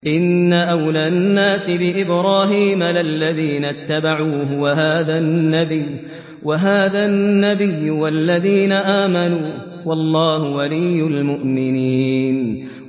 إِنَّ أَوْلَى النَّاسِ بِإِبْرَاهِيمَ لَلَّذِينَ اتَّبَعُوهُ وَهَٰذَا النَّبِيُّ وَالَّذِينَ آمَنُوا ۗ وَاللَّهُ وَلِيُّ الْمُؤْمِنِينَ